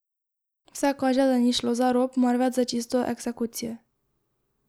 Vse kaže, da ni šlo za rop, marveč za čisto eksekucijo.